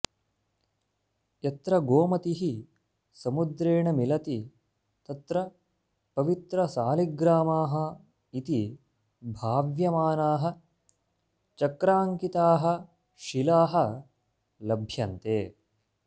यत्र गोमतिः समुद्रेण मिलति तत्र पवित्रसालिग्रामाः इति भाव्यमानाः चक्राङ्किताः शिलाः लभ्यन्ते